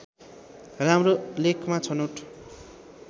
राम्रो लेखमा छनौट